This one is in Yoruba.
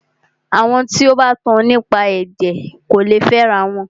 Àwọn tí o bá tan nípa ẹ̀jẹ̀ kò lè fẹ ara wọn.